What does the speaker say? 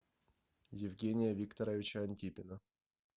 евгения викторовича антипина